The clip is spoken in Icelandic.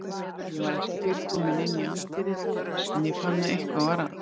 Ég var ekki fyrr kominn inn í anddyrið en ég fann að eitthvað var að.